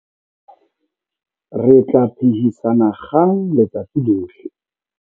Re tla phehisana kgang letsatsi lohle.